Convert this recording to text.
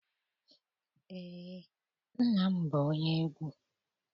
Eé, nna m bụ onye egwu.